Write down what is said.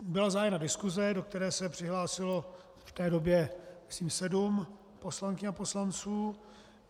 Byla zahájena diskuse, do které se přihlásilo v té době myslím sedm poslankyň a poslanců.